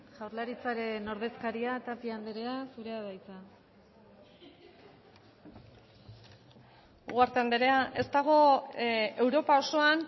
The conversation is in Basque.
jaurlaritzaren ordezkaria tapia andrea zurea da hitza ugarte andrea ez dago europa osoan